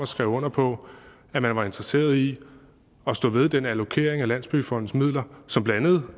skrev under på at man var interesseret i at stå ved den allokering af landsbyggefondens midler som blandt andet